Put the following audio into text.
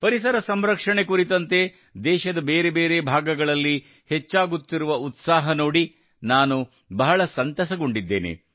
ಪರಿಸರ ಸಂರಕ್ಷಣೆ ಕುರಿತಂತೆ ದೇಶದ ಬೇರೆ ಬೇರೆ ಭಾಗಗಳಲ್ಲಿ ಹೆಚ್ಚಾಗುತ್ತಿರುವ ಉತ್ಸಾಹ ನೋಡಿ ನಾನು ಬಹಳ ಸಂತಸಗೊಂಡಿದ್ದೇನೆ